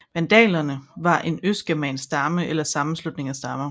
Vandalerne var en østgermansk stamme eller sammenslutning af stammer